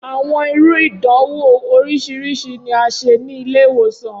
Awọn iru idanwo oriṣiriṣi ni a ṣe ni ile-iwosan.